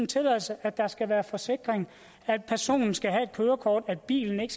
tilladelse at der skal være forsikring at personen skal have et kørekort at bilen ikke